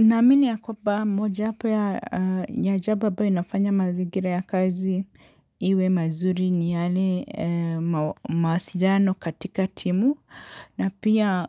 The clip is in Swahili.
Naamini ya kwamba moja yapo ya jambo ambayo inafanya mazingira ya kazi iwe mazuri ni yale mawasiliano katika timu na pia